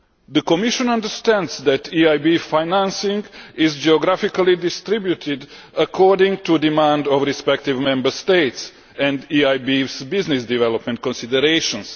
The Commission understands that EIB financing is geographically distributed according to demand from respective Member States and the EIB's business development considerations.